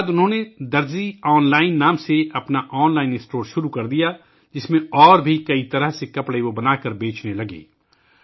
اس کے بعد انہوں نے ' درزی آن لائن ' کے نام سے اپنا آن لائن اسٹور شروع کیا ، جس میں وہ اور بھی کئی طرح کے کپڑے بناکر بیچنے لگے